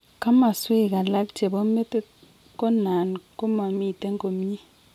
Kamaswek alak chebo metit ko nan koma miten komnyei